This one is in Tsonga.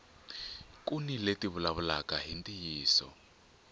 kuni leti ti vulavulaka hi ntiyiso